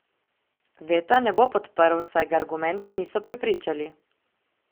Veta ne bo podprl, saj ga argumenti niso prepričali.